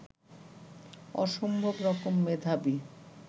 অসম্ভব রকম মেধাবী